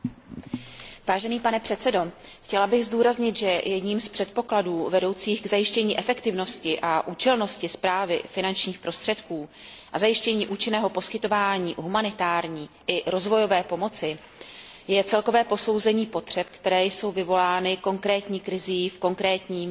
Pane předsedající, chtěla bych zdůraznit, že jedním z předpokladů vedoucích k zajištění efektivnosti a účelnosti správy finančních prostředků a k zajištění účinného poskytování humanitární i rozvojové pomoci je celkové posouzení potřeb, které jsou vyvolány konkrétní krizí v daném regionu.